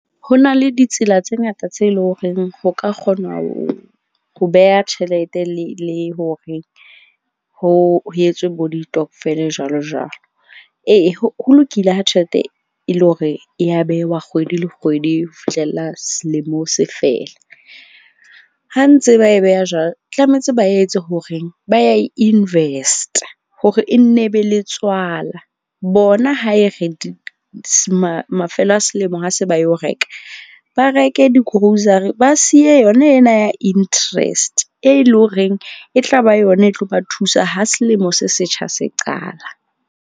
Ho na le ditsela tse ngata tse leng horeng ho ka kgona ho beha tjhelete le hore ho etswe bo ditokvel jwalo jwalo. Ee ho lokile ha tjhelete e le hore ya bewa kgwedi le kgwedi ho fihlella selemo se fela. Ha ntse ba e beha jwalo, tlametse ba etse hore ba ya e invest-a hore e nne e be le tswala. Bona ha e re mafelo a selemo, ha se ba yo reka, ba reke di-grocery, ba siye yona ena ya interest. E leng horeng e tla ba yona e tlo ba thusa ha selemo se setjha se qala.